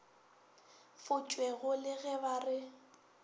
futšwego le ge ba re